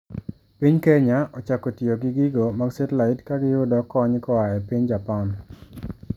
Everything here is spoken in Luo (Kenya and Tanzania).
Piny Kenya ochako tiyo gi gigo mag Satelite ka giyudo kony koa e piny Japan.